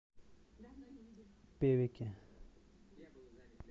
певеке